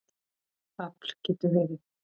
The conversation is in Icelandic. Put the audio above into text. Afl getur verið